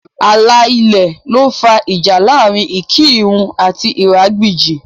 Ààlà ilẹ̀ ló fà ìjà láàrin Ikirun àti Iragbiji